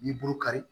N'i bolo kari